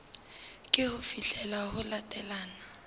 ke ho fihlela ho latelang